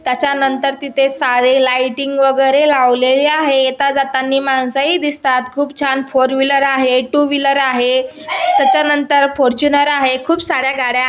त्याच्यानंतर तिथे सारे लाइटिंग वगैरे लावलेले आहेत. येता जातानी माणसंही दिसतात चार फोरव्हीलर आहे.टूव्हीलर आहे. त्याच्यानंतर फॉर्च्यूनर आहे. खूप सार्‍या गाड्या--